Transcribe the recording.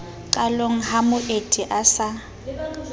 qalong ha moeti a sa